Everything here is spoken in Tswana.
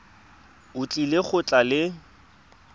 o tlile go tla le